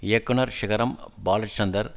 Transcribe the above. இயக்குனர் சிகரம் பாலசந்தர்